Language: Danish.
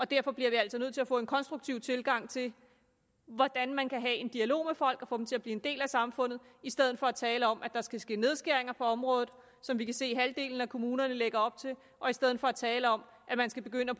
derfor bliver vi altså nødt til at få en konstruktiv tilgang til hvordan man kan have en dialog med folk og få dem til at blive en del af samfundet i stedet for at tale om at der skal ske nedskæringer på området som vi kan se at halvdelen af kommunerne lægger op til og i stedet for at tale om at man skal begynde at